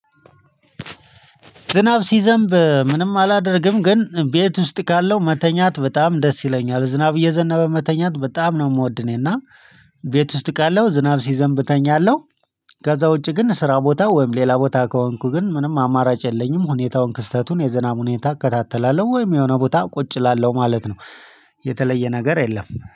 ዝናብ ሲዘንብ ምንም አላደርግም ግን ቤት ውስጥ ካለው መተኛት በጣም ደስ ይለኛል ዝናብ እየዘነበ መተኛት በጣም ነው የምወድ እኔና ቤት ውስጥ ካለሁ ዝናብ ሲዘንብ እተኛለሁ። ከዛ ውጪ ግን ስራ ቦታ ወይም ሌላ ቦታ ከሆንኩ ግን ምንም አማራጭ የለኝም ሁኔታውን ክስተቱን የዝናብ ሁኔታ እከታተላለሁ ወይም የሆነ ቦታ ቁጭ እላለሁ ማለት ነው። የተለየ ነገር የለም።